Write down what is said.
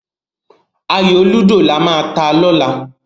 Ayò lúdò lama ta lọ́la.